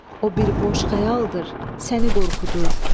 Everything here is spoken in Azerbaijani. O bir boş xəyaldır, səni qorxudur.